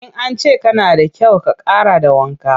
In an ce kana da kyau, ka ƙara da wanka.